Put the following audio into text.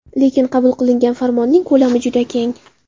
Lekin qabul qilingan farmonning ko‘lami juda keng.